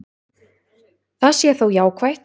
Það sé þó jákvætt.